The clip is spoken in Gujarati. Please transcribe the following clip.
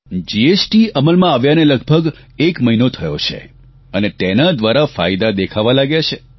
જીએસટી અમલમાં આવ્યાને લગભગ એક મહિનો થયો છે અને તેના દ્વારા ફાયદા દેખાવા લાગ્યા છે